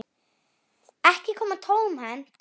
Ekki koma tómhent